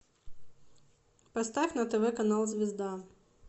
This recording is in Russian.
поставь на тв канал звезда